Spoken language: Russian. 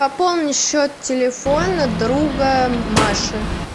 пополни счет телефона друга маши